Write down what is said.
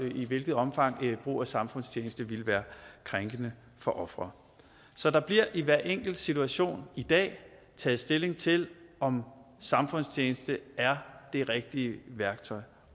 i hvilket omfang brug af samfundstjeneste ville være krænkende for ofret så der bliver i hver enkelt situation i dag taget stilling til om samfundstjeneste er det rigtige værktøj